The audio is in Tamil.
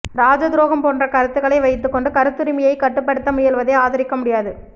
ராஜத்துரோகம் போன்ற கருத்துக்களை வைத்துக் கொண்டு கருத்துரிமையை கட்டுப்படுத்த முயல்வதை ஆதரிக்க முடியாது